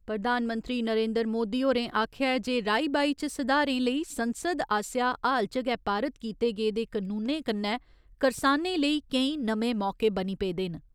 प्रधानमंत्री नरेंद्र मोदी होरें आखेआ ऐ जे राई बाई च सुधारें लेई संसद आस्सेआ हाल च गै पारित कीते गेदे कनूनें कन्नै करसानें लेई केईं नमें मौके बनी पेदे न।